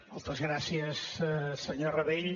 moltes gràcies senyor rabell